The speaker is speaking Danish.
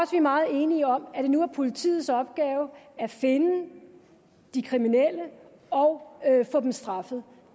er meget enige om at det nu er politiets opgave at finde de kriminelle og at få dem straffet